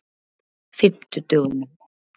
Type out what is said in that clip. fimmtudögunum